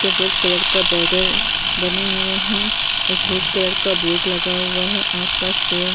पे red colour का border बने हुए हैं। एक रेड कलर बोर्ड लगा हुआ हैं। आस-पास पेड़ --